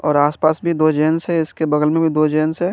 और आसपास भी दो जेन्स है इसके बगल में भी दो जेन्स है।